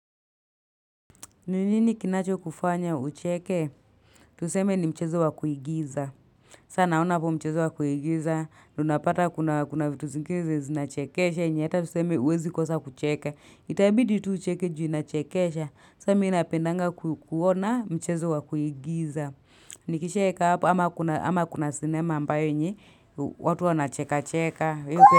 Nini nikinacho kufanya ucheke? Tuseme ni mchezo wa kuigiza. Sa naona hapo mchezo wakuigiza. Una apata kuna vitu zingizi zinachekesha. Ni ata tuseme huwezi kosa kucheke. Itabidi tu ucheke juu inachekesha. Sa mii napendanga kuona mchezo wa kuigiza. Nikishaeka hapa ama kuna sinema ambayo ni. Watu wana cheka cheka.